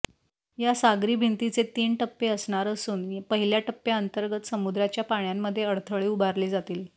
या सागरी भिंतीचे तीन टप्पे असणार असून पहिल्या टप्प्यांतर्गत समुद्राच्या पाण्यामध्ये अडथळे उभारले जातील